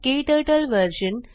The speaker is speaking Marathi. क्टर्टल व्हर्शन